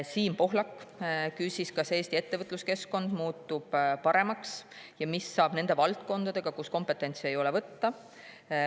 Siim Pohlak küsis, kas Eesti ettevõtluskeskkond muutub sellest paremaks ja mis saab nendest valdkondadest, kus kompetentsi ei ole võtta.